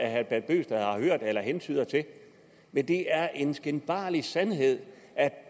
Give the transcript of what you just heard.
herre bent bøgsted har hørt eller hentyder til men det er en skinbarlig sandhed